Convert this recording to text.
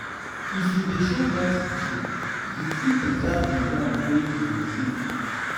if you de show gratitude you fit preserve di one wey you receive um